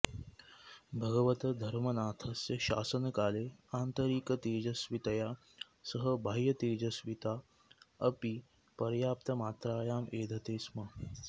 भगवतः धर्मनाथस्य शासनकाले आन्तरिकतेजस्वितया सह बाह्यतेजस्विता अपि पर्याप्तमात्रायाम् एधते स्म